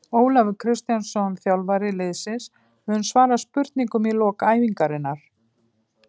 Ólafur Kristjánsson þjálfari liðsins mun svara spurningum í lok æfingarinnar.